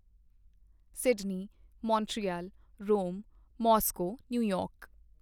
Sydney Montreal Rome Moscow New York